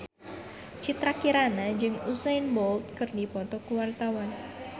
Citra Kirana jeung Usain Bolt keur dipoto ku wartawan